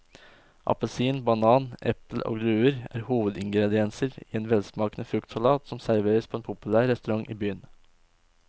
Appelsin, banan, eple og druer er hovedingredienser i en velsmakende fruktsalat som serveres på en populær restaurant i byen.